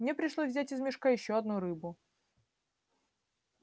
мне пришлось взять из мешка ещё одну рыбу